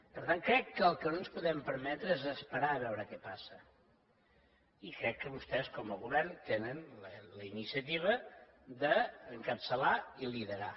per tant crec que el que no ens podem permetre és esperar a veure què passa i crec que vostès com a govern tenen la iniciativa d’encapçalar i liderar